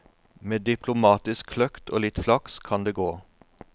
Med diplomatisk kløkt og litt flaks kan det gå.